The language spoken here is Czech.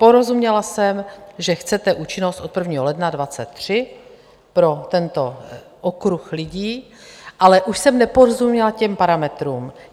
Porozuměla jsem, že chcete účinnost od 1. ledna 2023 pro tento okruh lidí, ale už jsem neporozuměla těm parametrům.